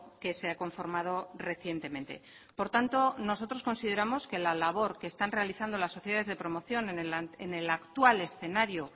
que se ha conformado recientemente por tanto nosotros consideramos que la labor que están realizando las sociedades de promoción en el actual escenario